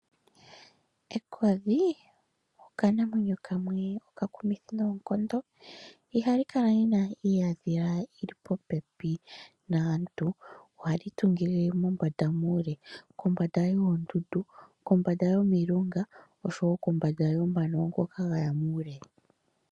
Ekodhi okanamwenyo kamwe okakumithi noonkondo, ihali kala li na iihandhila yi li popepi naantu ohali tungile mombanda muule, kombanda yoondundu, kombanda yomilunga oshowo kombanda yomano ngoka ga ya muule.